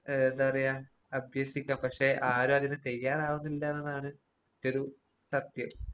ഏഹ് എന്താ പറയാ അഭ്യസിക്കാം പക്ഷെ ആരും അതിന് തയ്യാറാവുന്നില്ലാന്നാണ് ഒരു സത്യം